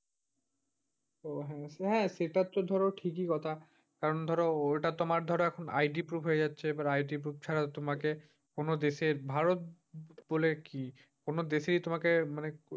তো হ্যাঁ, হ্যাঁ সেটাতো ধর ঠিকি কথা। কারণ ধর ওটা তোমার ধর এখন ID proof হয়ে যাচ্ছে। এবার ID proof ছাড়া তোমাকে কোন দেশের ভারত বলে কি? কোন দেশেই তোমাকে মানে,